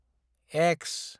एक्स